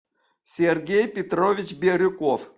сергей петрович бирюков